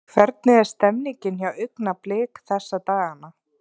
Hvernig er stemmningin hjá Augnablik þessa dagana?